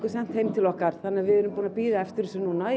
sent heim til okkar þannig að við erum búnar að bíða eftir þessu núna